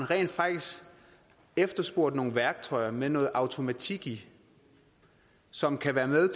rent faktisk efterspurgt nogle værktøjer med noget automatik i som kan være med